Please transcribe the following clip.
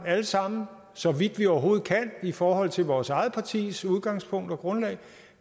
alle sammen så vidt vi overhovedet kan i forhold til vores eget partis udgangspunkt og grundlag